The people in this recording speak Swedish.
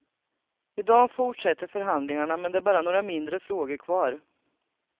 I dag fortsätter förhandlingarna men det är bara några mindre frågor kvar.